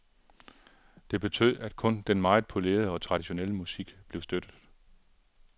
Det betød, at kun den meget polerede og traditionelle musik blev støttet.